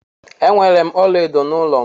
Enwere m ọla edo n'ụlọ m.